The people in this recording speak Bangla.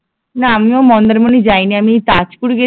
না আমিও মন্দারমনী যায়নি আমি তাজপুর